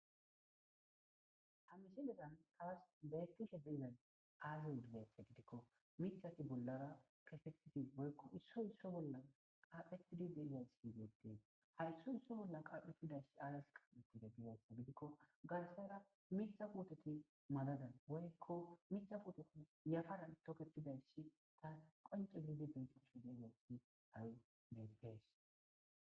Amisilezan taas beekishe beizan aaze wudizaxe gidikko mithati bollara kesettiti woykko isso isso bolla qaaphetidi deidays hidieden haysso isso bolla qaphe hudash azas qaetide biyasa gidikko galasara mixa kutoti madadan woykko mixa puutoti yafaran toketidaysshi ta qonce bindi beeqoshu de gasi awy begfees.